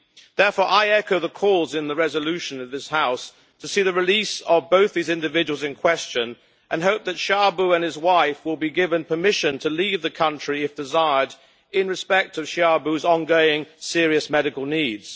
Therefore I echo the calls in the resolution of this House to see the release of both the individuals in question and hope that Xiaobo and his wife will be given permission to leave the country, if desired, in view of Xiaobo's ongoing serious medical needs.